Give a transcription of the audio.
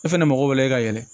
E fɛnɛ mago b'o la i ka yɛlɛ